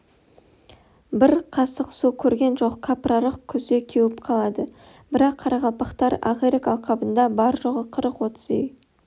бір қасық су көрген жоқ кәпірарық күзде кеуіп қалады бірақ қарақалпақтар ақирек алқабында бары-жоғы қырық-отыз үй